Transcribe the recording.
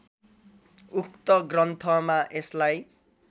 उक्त ग्रन्थमा यसलाई